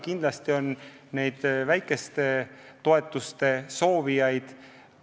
Kindlasti on nende väikeste toetuste soovijaid.